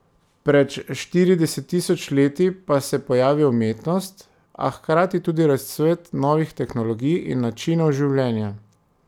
Pred štirideset tisoč leti pa se pojavi umetnost, a hkrati tudi razcvet novih tehnologij in načinov življenja.